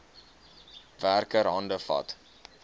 werker hande vat